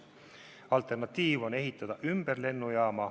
Alternatiiv on ehitada tee ümber lennujaama.